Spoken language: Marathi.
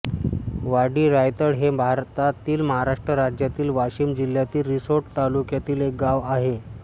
वाडी रायतळ हे भारतातील महाराष्ट्र राज्यातील वाशिम जिल्ह्यातील रिसोड तालुक्यातील एक गाव आहे